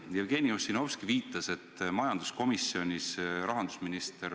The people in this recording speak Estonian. Ja kas te oskate selgitada, millised need ideoloogilised põhjused on?